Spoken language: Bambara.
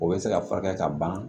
O bɛ se ka furakɛ ka ban